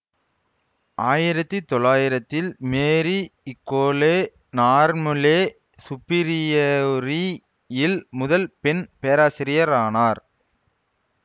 ஆயிரத்தி தொள்ளாயிரத்தில் மேரீ இகோலே நார்மொலே சுப்பீரியோரி யில் முதல் பெண் பேராசிரியரானார்